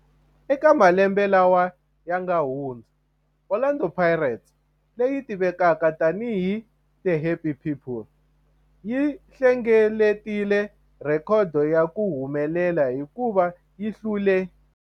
Eka malembe lawa yanga hundza, Orlando Pirates, leyi tivekaka tani hi 'The Happy People', yi hlengeletile rhekhodo ya ku humelela hikuva yi hlule